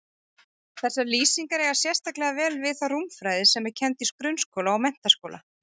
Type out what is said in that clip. Þessar lýsingar eiga sérstaklega vel við þá rúmfræði sem kennd er í grunnskóla og menntaskóla.